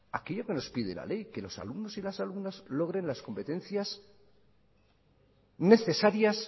aquello que nos pide la ley que los alumnos y las alumnas logren las competencias necesarias